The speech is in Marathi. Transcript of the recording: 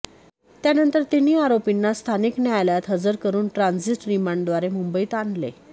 त्यानंतर तिन्ही आरोपींना स्थानिक न्यायालयात हजर करून ट्रांझीट रिमांडद्वारे मुंबईत आणले